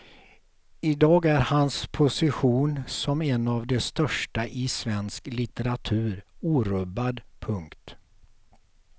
I dag är hans position som en av de största i svensk litteratur orubbad. punkt